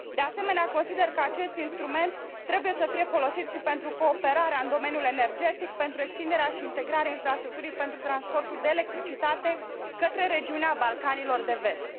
De asemenea, consider că acest instrument trebuie să fie folosit și pentru cooperarea în domeniul energetic, pentru extinderea și integrarea infrastructurii pentru transportul de electricitate către regiunea Balcanilor de Vest.